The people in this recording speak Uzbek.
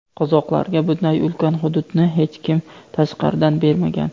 Qozoqlarga bunday ulkan hududni hech kim tashqaridan bermagan.